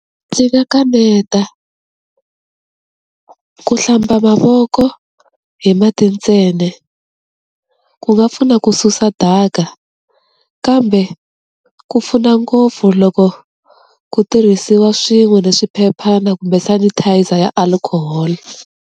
Ndzi nga kaneta, ku hlamba mavoko hi mati ntsena ku nga pfuna ku susa daka kambe ku pfuna ngopfu loko ku tirhisiwa swin'we ni swiphephana kumbe sanitizer ya alcohol.